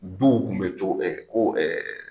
Du kun bɛ cogo bɛɛ ko